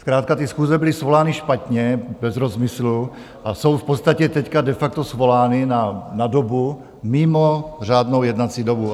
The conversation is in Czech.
Zkrátka ty schůze byly svolány špatně, bez rozmyslu, a jsou v podstatě teď de facto svolány na dobu mimo řádnou jednací dobu.